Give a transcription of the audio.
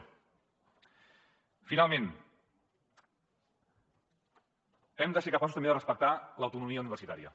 finalment hem de ser capaços també de respectar l’autonomia universitària